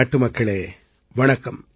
நாட்டுமக்களே வணக்கம்